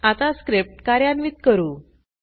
आता स्क्रिप्ट कार्यान्वित करू